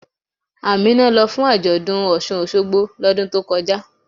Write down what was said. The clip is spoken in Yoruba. Ámínà ló fún ajọ́dún Ọṣun-Ọṣogbo lódùn tó kọjá.